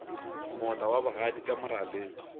moota wa bogadi ka moraleng